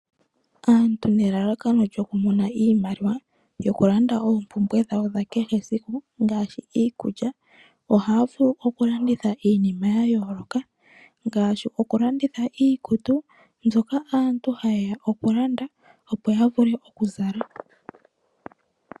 Aantu nelalakano lyoku mona iimaliwa yoku landa oompumbwe dhawo dhakehe siku ngaashi iikulya ohaya vulu oku landitha iinima ya yooloka ngaashi oku landitha iikutu mbyoka aantu haye ya oku landa, opo ya vule oku zala.